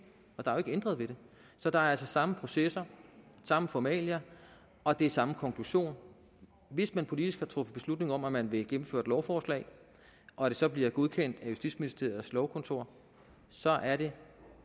og der er jo ikke ændret ved det så der er altså samme processer samme formalia og det er samme konklusion hvis man politisk har truffet beslutning om at man vil gennemføre et lovforslag og det så bliver godkendt af justitsministeriets lovkontor så er det